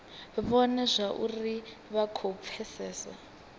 vhone zwauri vha khou pfesesa